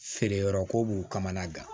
Feere yɔrɔko b'u kamana gan